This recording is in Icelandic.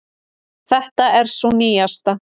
Þetta er sú nýjasta.